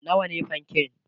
nawa ne fanke?